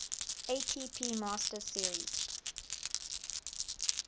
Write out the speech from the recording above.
atp masters series